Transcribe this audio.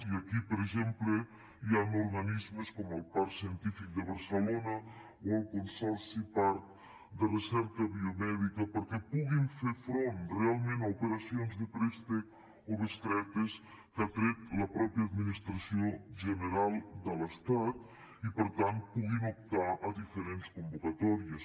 i aquí per exemple hi ha organismes com el parc científic de barcelona o el consorci parc de recerca biomèdica perquè puguin fer front realment a operacions de préstecs o bestretes que ha tret la mateixa administració general de l’estat i per tant puguin optar a diferents convocatòries